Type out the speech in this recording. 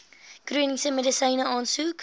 chroniese medisyne aansoek